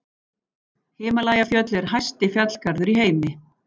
Himalajafjöll eru hæsti fjallgarður í heimi.